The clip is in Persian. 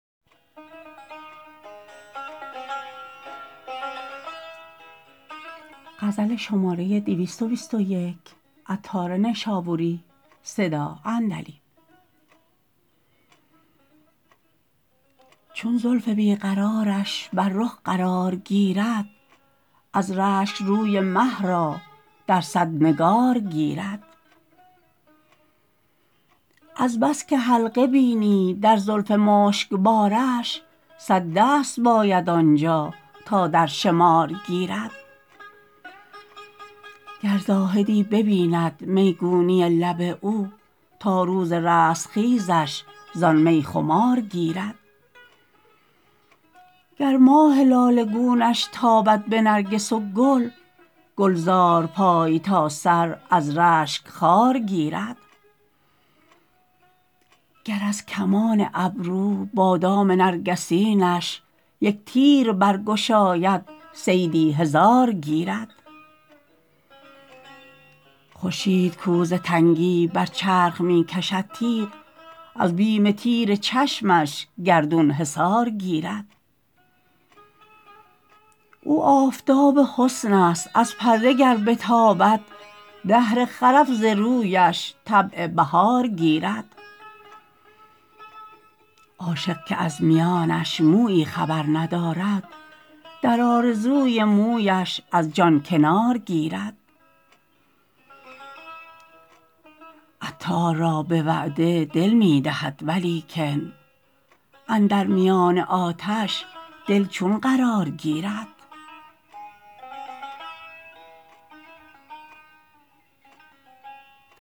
چون زلف بیقرارش بر رخ قرار گیرد از رشک روی مه را در صد نگار گیرد از بس که حلقه بینی در زلف مشکبارش صد دست باید آنجا تا در شمار گیرد گر زاهدی ببیند میگونی لب او تا روز رستخیزش زان می خمار گیرد گر ماه لاله گونش تابد به نرگس و گل گلزار پای تا سر از رشک خار گیرد گر از کمان ابرو بادام نرگسینش یک تیر برگشاید صیدی هزار گیرد خورشید کو ز تنگی بر چرخ می کشد تیغ از بیم تیر چشمش گردون حصار گیرد او آفتاب حسن است از پرده گر بتابد دهر خرف ز رویش طبع بهار گیرد عاشق که از میانش مویی خبر ندارد در آرزوی مویش از جان کنار گیرد عطار را به وعده دل می دهد ولیکن اندر میان آتش دل چون قرار گیرد